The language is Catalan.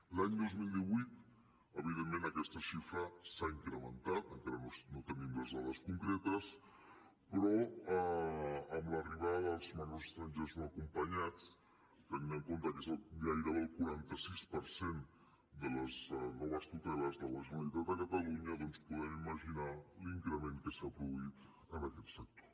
l’any dos mil divuit evidentment aquesta xifra s’ha incrementat encara no en tenim les dades concretes però amb l’arribada dels menors estrangers no acompanyats tenint en compte que és gairebé el quaranta sis per cent de les noves tuteles de la generalitat de catalunya doncs podem imaginar l’increment que s’ha produït en aquest sector